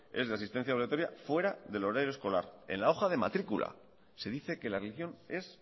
es de asistencia obligatoria fuera del horario escolar en la hoja de matricula se dice que la religión es